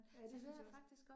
Ja, det synes jeg også